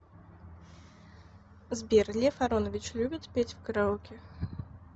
сбер лев аронович любит петь в караоке